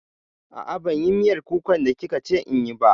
A'a, ban yi miyar kukan da kika ce inyi ba